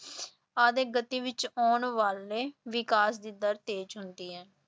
ਵਿੱਚ ਆਉਣ ਵਾਲੇ ਵਿਕਾਸ ਦੀ ਦਰ ਤੇਜ਼ ਹੁੰਦੀ ਹੈ।